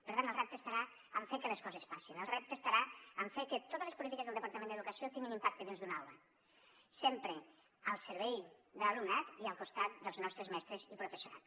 per tant el repte estarà en fer que les coses passin el repte estarà en fer que totes les polítiques del departament d’educació tinguin impacte dins d’una aula sempre al servei de l’alumnat i al costat dels nostres mestres i professorat